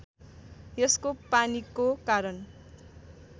यसको पानीको कारण